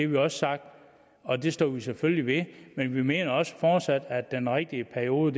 vi også sagt og det står vi selvfølgelig ved men vi mener også fortsat at den rigtige periode